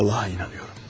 Allaha inanıram.